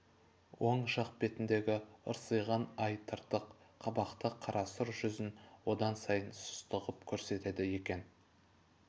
оң жақ бетіндегі ырсиған ай тыртық қабақты қарасұр жүзін одан сайын сұсты ғып көрсетеді екен